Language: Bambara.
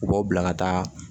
U b'aw bila ka taa